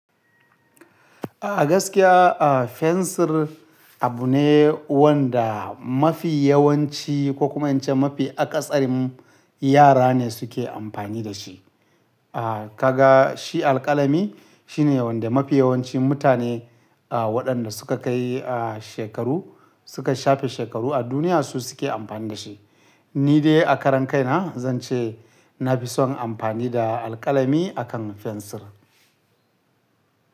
A gaskiya, fensir abu ne wanda mafi yawanci ko kuma in ce mafi akasarin yara ne suke amfani da shi. Kaga shi alƙalami shi ne wanda mafi yawancin mutane waɗanda suka kai shekaru, suka shafe shekaru a duniya su suke amfani da shi. Ni dai a karan kaina zan ce na fi son amfani da alƙalami akan fensir.